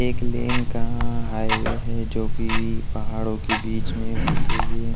एक लेन का हाईवे है जो कि पहाड़ों के बीच में होते हुए --